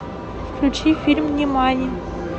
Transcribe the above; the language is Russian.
включи фильм нимани